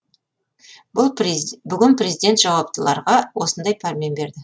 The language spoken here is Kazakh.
бүгін президент жауаптыларға осындай пәрмен берді